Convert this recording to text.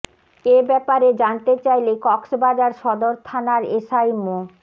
এ ব্যাপারে জানতে চাইলে কক্সবাজার সদর থানার এসআই মো